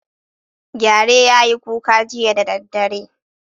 Gyare ya yi kuka jiya da daddare.